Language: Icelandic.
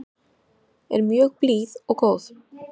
Er mjög blíð og góð.